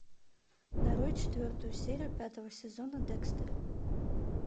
нарой четвертую серию пятого сезона декстер